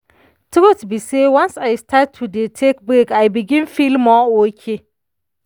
truth be say once i start to dey take break i begin feel more okay.